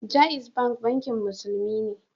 Jaiz Bank Bankin Musulunci ne